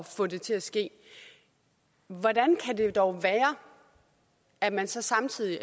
få det til at ske men hvordan kan det dog være at man så samtidig